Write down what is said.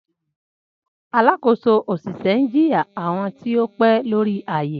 Alakoso oṣiṣẹ n jiya awọn ti o ti pẹ lori aaye.